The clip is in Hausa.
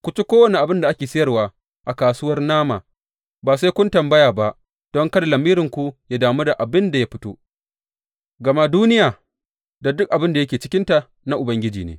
Ku ci kowane abin da ake sayarwa a kasuwar nama ba sai kun tambaya ba don kada lamiri yă damu da inda abin ya fito, gama Duniya da duk abin da yake cikinta na Ubangiji ne.